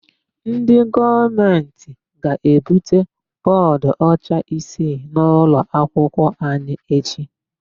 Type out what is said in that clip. Ndị gọọmentị ga-ebute bọọdụọcha isii n'ụlọakwụkwọ anyị echi.